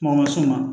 Mɔgɔ ma s'u ma